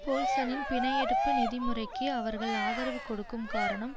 போல்சனின் பிணை எடுப்பு நிதி முறைக்கு அவர்கள் ஆதரவு கொடுக்கும் காரணம்